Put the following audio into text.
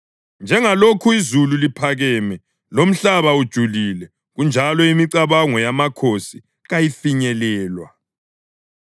Njengalokhu izulu liphakeme lomhlaba ujulile, kanjalo imicabango yamakhosi kayifinyelelwa.